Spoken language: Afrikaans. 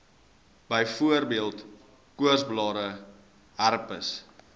byvoorbeeld koorsblare herpes